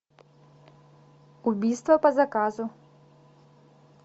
убийство по заказу